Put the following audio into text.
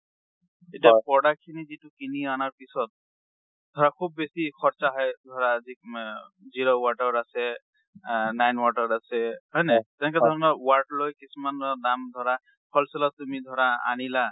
এতিয়া পুৰণা খিনি যিটো কিনি আনাৰ পিছত, ধৰা খুব বেচি খৰ্চা হয় ধৰা যি মে zero-watt ৰ আছে, আ nine watt ৰ আছে, হয়ন নহয় , তেনেকা ধৰনৰ watt লৈ কিছুমান দাম ধৰা for sale অত তুমি ধৰা আনিলা।